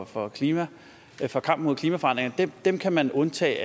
for klimaet og kampen mod klimaforandringer dem kan man undtage